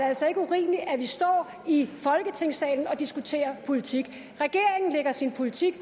altså ikke urimeligt at vi står i folketingssalen og diskuterer politik regeringen lægger sin politik